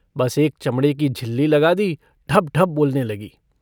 बस एक चमड़े की झिल्ली लगा दी ढबढब बोलने लगी।